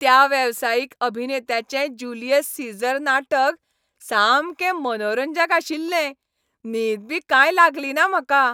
त्या वेवसायीक अभिनेत्यांचें जुलियस सीझर नाटक सामकें मनोरंजक आशिल्लें. न्हीद बी कांय लागलीना म्हाका.